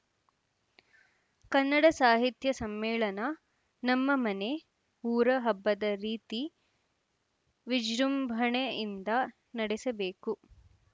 ಕನ್ನಡ ಸಾಹಿತ್ಯ ಸಮ್ಮೇಳನ ನಮ್ಮ ಮನೆ ಊರ ಹಬ್ಬದ ರೀತಿ ವಿಜೃಂಭಣೆಯಿಂದ ನಡೆಸಬೇಕು